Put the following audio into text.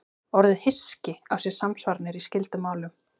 Orðið hyski á sér samsvaranir í skyldum málum.